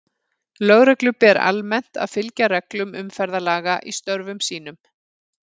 Lögreglu ber almennt að fylgja reglum umferðarlaga í störfum sínum.